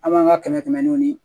An b'an ka kɛmɛ kɛmɛw di